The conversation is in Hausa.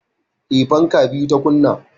Eh, fanka biyu ta kunna